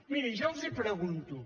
miri jo els pregunto